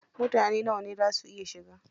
Mutane nawa ne za su iya shiga?